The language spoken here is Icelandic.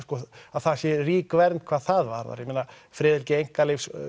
að það sé rík vernd hvað það varðar ég meina friðhelgi einkalífs